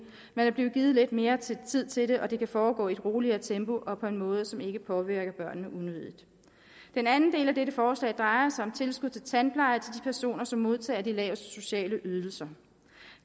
man er blevet givet lidt mere tid tid til det og det kan foregå i et roligere tempo og på en måde som ikke påvirker børnene unødigt den anden del af dette forslag drejer sig om tilskud til tandpleje til personer som modtager de laveste sociale ydelser